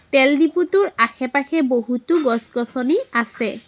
তেল ডিপোটোৰ আশে-পাশে বহুতো গছ গছনি আছে।